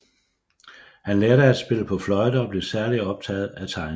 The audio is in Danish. Han lærte at spille på fløjte og blev særligt optaget af tegning